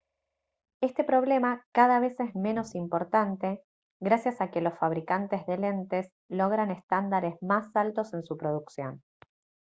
este problema cada vez es menos importante gracias a que los fabricantes de lentes logran estándares más altos en su producción